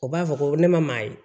O b'a fɔ ko ne ma maa ye